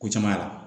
Ko caman y'a la